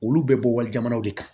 Olu bɛ bɔ wali jamanaw de kan